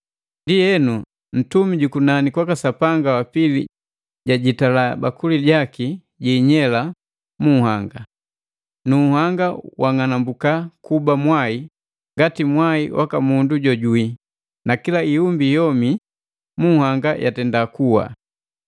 Ndienu, ntumi jukunani kwaka Sapanga wa pili jajitala bakuli jaki jiinyela mu nhanga. Nu nhanga wang'anambuka kuba mwai ngati mwai waka mundu jojuwii, na kila iumbi yomi mu nhanga yatenda kuwa.